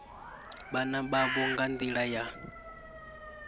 vhana vhavho nga nḓila ya